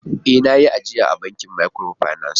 Ee! Na yi ajiya a bankin microfinance.